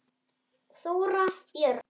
Þóra Björg.